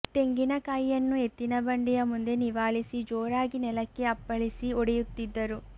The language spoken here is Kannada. ತೆಂಗಿನ ಕಾಯಿಯನ್ನು ಎತ್ತಿನ ಬಂಡಿಯ ಮುಂದೆ ನಿವಾಳಿಸಿ ಜೋರಾಗಿ ನೆಲಕ್ಕೆ ಅಪ್ಪಳಿಸಿ ಒಡೆಯುತ್ತಿದ್ದರು